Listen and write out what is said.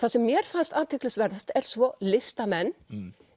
það sem mér fannst athyglisverðast er svo listamenn